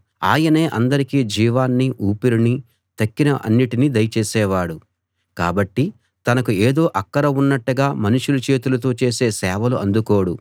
ఆయనే అందరికీ జీవాన్నీ ఊపిరినీ తక్కిన అన్నింటినీ దయచేసేవాడు కాబట్టి తనకు ఏదో అక్కర ఉన్నట్టుగా మనుషులు చేతులతో చేసే సేవలు అందుకోడు